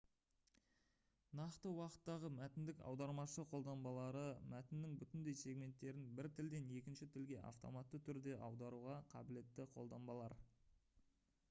нақты уақыттағы мәтіндік аудармашы қолданбалары мәтіннің бүтіндей сегменттерін бір тілден екінші тілге автоматты түрде аударуға қабілетті қолданбалар